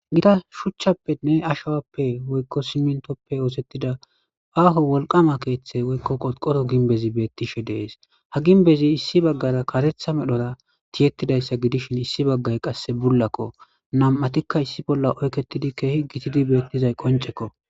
Gita shuuchchappe woykko aashuwappe woykko siiminttoppe oosettida aaho wolqqama keththe woykko qorqoro getettiza aaho ginbezii bettishe de'es ha gimbezii issi baggara kareththa medhora tiyetidayssa gidishin issi baggay qse buullakko nam'attikka issi bolla oykettidii keehi gidizay qonccekko